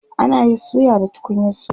ana Yi suya da tukunyan suya